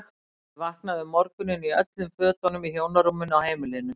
Ég vaknaði um morguninn í öllum fötunum í hjónarúminu á heimilinu.